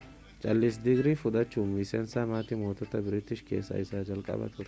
chaarlis digirii fudhachuudhan miseensa maatii moototaa biriitish keessa isa jalqabaa ture